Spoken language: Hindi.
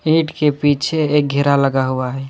गेट के पीछे एक घेरा लगा हुआ है।